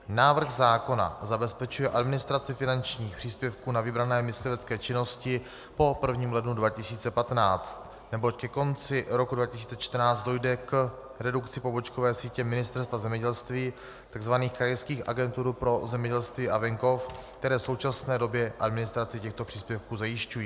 Návrh zákona zabezpečuje administraci finančních příspěvků na vybrané myslivecké činnosti po 1. lednu 2015, neboť ke konci roku 2014 dojde k redukci pobočkové sítě Ministerstva zemědělství, tzv. krajských agentur pro zemědělství a venkov, které v současné době administraci těchto příspěvků zajišťují.